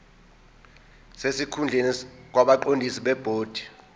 sesikhundleni kwabaqondisi bebhodi